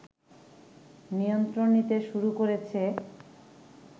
নিয়ন্ত্রণ নিতে শুরু করেছে